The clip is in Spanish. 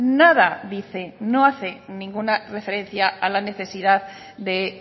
nada dice no hace ninguna referencia a la necesidad de